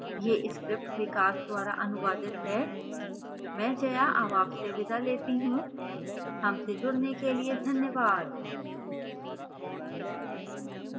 यह script विकास द्वारा अनुवादित है मैं जया अब आपसे विदा लेती हूँ